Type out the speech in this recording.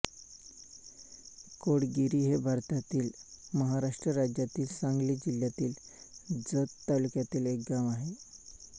कोळगिरी हे भारतातील महाराष्ट्र राज्यातील सांगली जिल्ह्यातील जत तालुक्यातील एक गाव आहे